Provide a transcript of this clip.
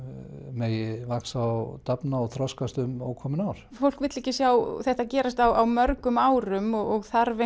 megi vaxa og dafna og þroskast um ókomin ár fólk vill ekki sjá þetta gerast á mörgum árum og þarf